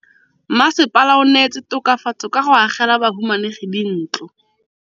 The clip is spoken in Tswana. Mmasepala o neetse tokafatsô ka go agela bahumanegi dintlo.